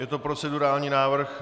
Je to procedurální návrh.